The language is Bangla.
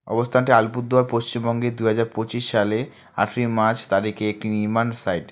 অবস্থানটি আলিপুরদুয়ার পশ্চিমবঙ্গে দুহাজার পঁচিশ সালে আটই মার্চ তারিখে একটি নির্মাণ সাইট ।